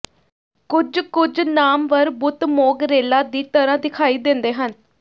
ਕੁੱਝ ਕੁੱਝ ਨਾਮਵਰ ਬੁੱਤ ਮੋਂਗਰੇਲਾਂ ਦੀ ਤਰ੍ਹਾਂ ਦਿਖਾਈ ਦਿੰਦੇ ਹਨ